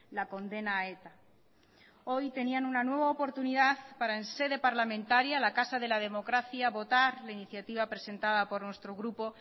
la condena a eta hoy tenían una nueva oportunidad para en sede parlamentaria la casa de la democracia votar la iniciativa presentada por nuestro grupo